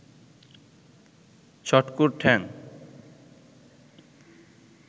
ছটকুর ঠ্যাং